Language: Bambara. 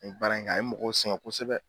N ye baara in kɛ, a ye mɔgɔ singɛ kosɛbɛ.